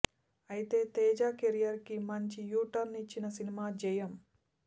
అయితే తేజ కేరీర్ కి మంచి యూ టర్న్ ఇచ్చిన సినిమా జయం